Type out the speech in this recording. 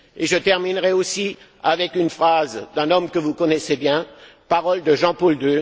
Et je terminerai aussi avec une phrase d'un homme que vous connaissez bien, ces paroles de Jean Paul II.